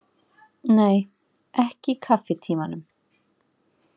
Nei, ekki í kaffitímanum.